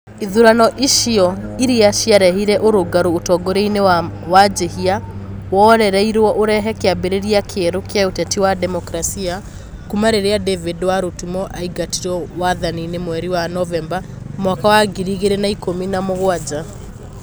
ithurano icio iria ciarehire ũrũngarũ ũtongoria-inĩ wa wanjihia weroreirwo ũrehe kĩambĩrĩria kĩerũ kĩa ũteti wa demokarasi kuma rĩrĩa david warutumo aingatirwo wathani-inĩ mweri-inĩ wa Novemba mwaka wa ngiri igĩrĩ na ikũmi na mũgwanja.